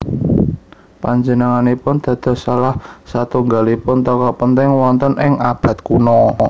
Panjenenganipun dados salah satunggalipun tokoh penting wonten ing abad kuno